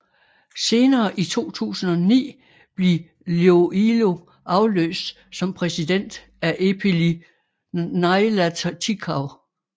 Senere i 2009 blev Iloilo afløst som præsident af Epeli Nailatikau